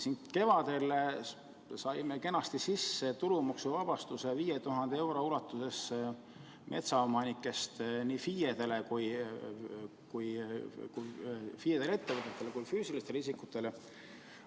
Kevadel saime siin kenasti sisse viidud tulumaksuvabastuse 5000 euro ulatuses nii metsaomanikest FIE-dele ja ettevõtetele kui ka füüsilistele isikutele.